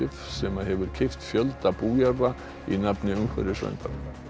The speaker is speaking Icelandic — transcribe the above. sem hefur keypt fjölda bújarða í nafni umhverfisverndar